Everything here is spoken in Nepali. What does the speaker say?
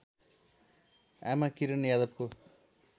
आमा किरण यादवको